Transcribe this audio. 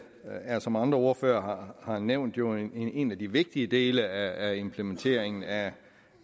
er som andre ordførere har nævnt jo en af de vigtige dele af implementeringen af